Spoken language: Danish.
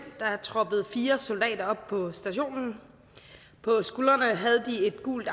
troppede fire soldater op på stationen på skuldrene havde de et gult